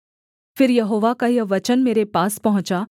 फिर यहोवा का यह वचन मेरे पास पहुँचा